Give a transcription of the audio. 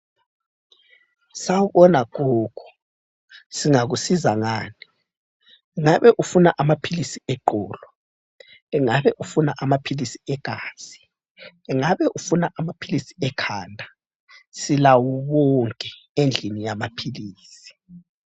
Sakubona gogo singakusiza ngani? Ungabe ufuna amaphilisi eqolo? ungabe ufuna amaphilisi egazi, ungabe ufuna amaphilisi ekhanda? Silawo wonke endlini yamaphilisi.